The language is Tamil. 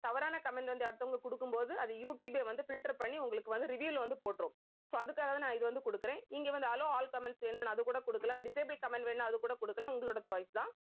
தவறான comment வந்து அடுத்தவங்க குடுக்கும் போது அது யூடியூபே வந்து filter பண்ணி உங்களுக்கு வந்து review ல வந்து போட்டுரும் so அதுக்காகதான் நான் இதை வந்து கொடுக்கிறேன். இங்கே வந்து allow all comments வேணும்ன்னு அதுகூட கொடுக்கலாம். disable comment வேணும்ன்னா அதுகூட கொடுக்கலாம். உங்களோட choice தான்